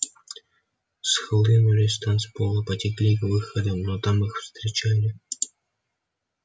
схлынули с танцпола потекли к выходам но там их встречали